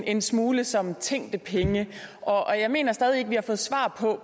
en smule som tænkte penge og jeg mener stadig ikke at vi har fået svar på